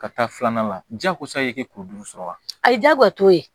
Ka taa filanan la jago sa i tɛ kulu duuru sɔrɔ wa a ye jabato ye